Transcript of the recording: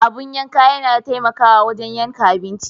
Abin yanka yana taimakawa wajen yanke abinci.